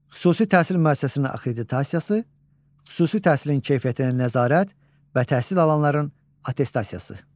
Xüsusi təhsil müəssisəsinin akkreditasiyası, xüsusi təhsilin keyfiyyətinə nəzarət və təhsil alanların attestasiyası.